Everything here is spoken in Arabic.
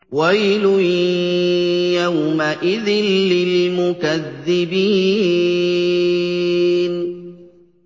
وَيْلٌ يَوْمَئِذٍ لِّلْمُكَذِّبِينَ